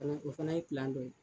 O o fana ye dɔ ye.